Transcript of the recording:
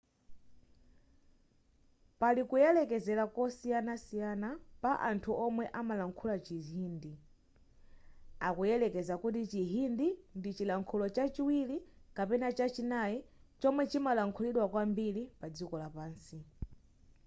pali kuyerekezera kosiyanasiyana pa anthu omwe amalankhula chihindi akuyerekeza kuti chihindi ndi chilankhulo chachiwiri kapena chachinayi chomwe chimalankhulidwa kwambiri padziko lapansi